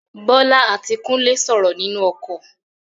Bólá àti Kúnlé sọrọ ninu okò